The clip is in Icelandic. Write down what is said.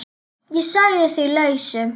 Ég sagði því lausu.